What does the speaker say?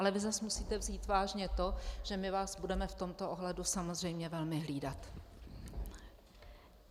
Ale vy zas musíte vzít vážně to, že my vás budeme v tomto ohledu samozřejmě velmi hlídat.